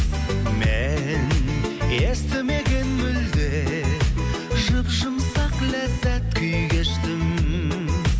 мен естімеген мүлде жұп жұмсақ ләззат күй кештім